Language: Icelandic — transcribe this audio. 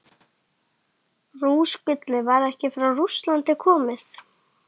Rússagullið var ekki frá Rússlandi komið.